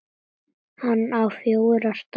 Hann á fjórar dætur.